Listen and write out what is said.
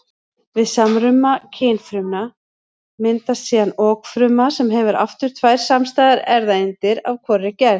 Við samruna kynfrumna myndast síðan okfruma sem hefur aftur tvær samstæðar erfðaeindir af hvorri gerð.